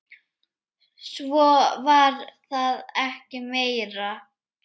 Svo var það ekki meira.